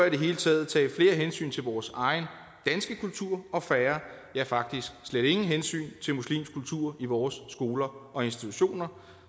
i det hele taget tage flere hensyn til vores egen danske kultur og færre ja faktisk slet ingen hensyn til muslimsk kultur i vores skoler og institutioner